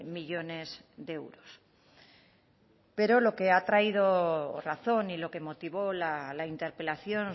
millónes de euros pero lo que ha traído razón y lo que motivó la interpelación